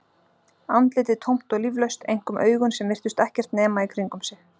Andlitið tómt og líflaust, einkum augun sem virtust ekkert nema í kringum sig.